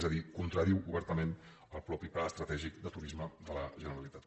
és a dir contradiu obertament el mateix pla estratègic de turisme de la generalitat